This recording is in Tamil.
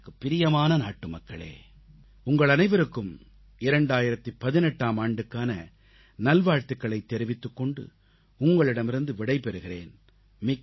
எனக்குப் பிரியமான நாட்டுமக்களே உங்கள் அனைவருக்கும் 2018ஆம் ஆண்டுக்கான நல்வாழ்த்துகளைத் தெரிவித்துக் கொண்டு உங்களிடமிருந்து விடை பெறுகிறேன்